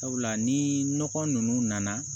Sabula ni nɔgɔ ninnu nana